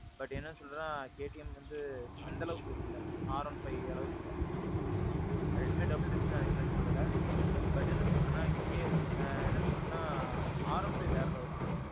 but, என்ன சொல்றதுன்னா KTM வந்து அந்த அளவுக்கு look இல்ல, R one five அளவுக்கு look இல்ல. ரெண்டுமே double touch தான் இல்லேன்னு சொல்லல. but, என்ன சொல்றதுன்னா, என்ன சொல்றதுன்னா, R one five வேற level bro.